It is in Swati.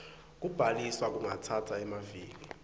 kubhaliswa kungatsatsa emaviki